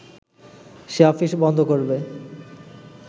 সে office বন্ধ করবে